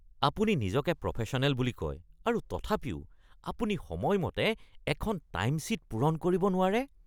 আপুনি নিজকে প্ৰফেশ্যনেল বুলি কয় আৰু তথাপিও আপুনি সময়মতে এখন টাইমশ্বীট পূৰণ কৰিব নোৱাৰে (মেনেজাৰ)